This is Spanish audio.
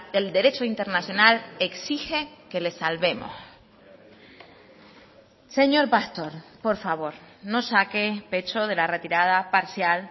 el derecho internacional exige que les salvemos señor pastor por favor no saque pecho de la retirada parcial